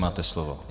Máte slovo.